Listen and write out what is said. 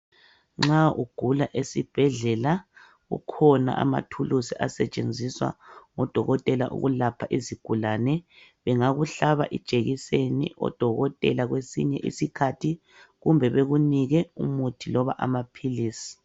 Nxa ugula, esibhedlela kukhona amathulusi asetshenziswa ngodokotela ukulapha izigulane. Bengakuhlaba ijekiseni odokotela kwesinye iskhathi, kumbe bekunike umuthi loba amaphilisi.